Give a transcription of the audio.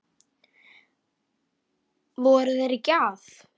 Voru þeir ekki að?